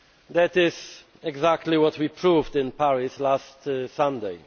That is exactly what we proved in Paris last Sunday.